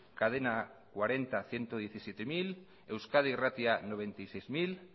cadena cuarenta ciento diecisiete mil euskadi irratia noventa y seis mil